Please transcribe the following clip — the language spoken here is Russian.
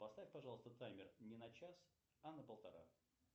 поставь пожалуйста таймер не на час а на полтора